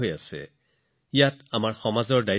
এয়া গোটেই সমাজৰ দায়িত্ব